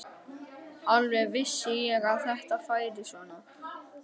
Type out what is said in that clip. Alveg vissi ég að þetta færi svona!